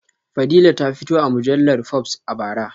Fadila ta fito a mujallar fobes a bara